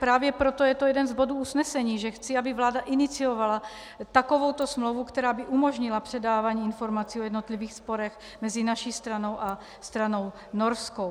Právě proto je to jeden z bodů usnesení, že chci, aby vláda iniciovala takovouto smlouvu, která by umožnila předávání informací o jednotlivých sporech mezi naší stranou a stranou norskou.